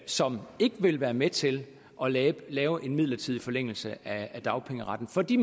som ikke vil være med til at lave lave en midlertidig forlængelse af dagpengeretten for de